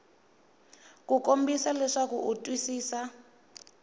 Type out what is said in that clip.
ku kombisa leswaku u twisisa